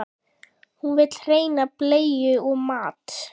Hún vill hreina bleiu og mat.